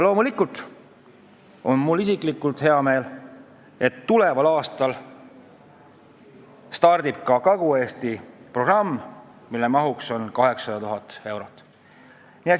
Loomulikult on mul isiklikult hea meel, et tuleval aastal käivitub Kagu-Eesti programm, mille maht on 800 000 eurot.